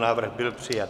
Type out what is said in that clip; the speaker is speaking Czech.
Návrh byl přijat.